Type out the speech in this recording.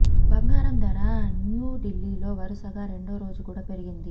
బంగారం ధర న్యూ ఢిల్లీలో వరుసగా రెండో రోజు కూడా పెరిగింది